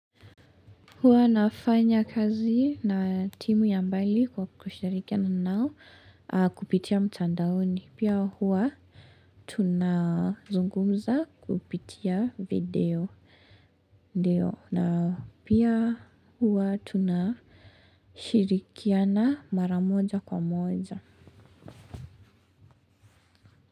Huwa nafanya kazi na timu ya mbali kwa kushirikiana nao kupitia mtandaoni. Pia huwa tunazungumza kupitia video. Na pia huwa tunashirikiana mara moja kwa moja.